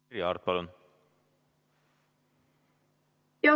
Merry Aart, palun!